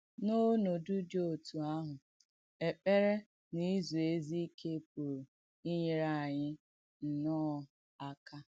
N’ònòdù dì òtù āhụ̀, èkpèrè nà ìzù èzí ìkè pùrù ìnyèrè ànyị̣ ànyị̣ nnọ̣́ọ̀ akà.